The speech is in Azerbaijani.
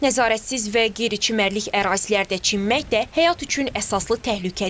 Nəzarətsiz və qeyri-çimərlik ərazilərdə çimmək də həyat üçün əsaslı təhlükədir.